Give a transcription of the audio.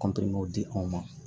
di anw ma